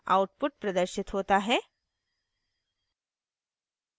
output प्रदर्शित होता है